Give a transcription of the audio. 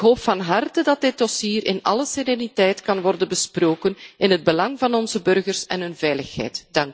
Ik hoop van harte dat dit dossier in alle sereniteit kan worden besproken in het belang van onze burgers en hun veiligheid.